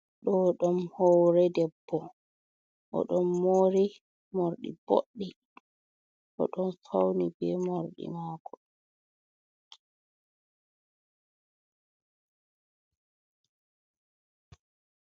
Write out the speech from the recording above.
Ɗo ɗum hoore debbo. O ɗon mori morɗi boɗɗi, o ɗon fauni be morɗi maako.